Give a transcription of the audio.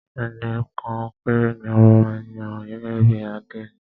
Ẹnìkan péré ni a máa ń yàn gẹ́gẹ́ bí àdénì.